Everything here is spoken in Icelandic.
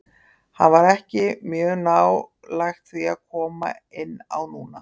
Hann var ekki mjög nálægt því að koma inn á núna.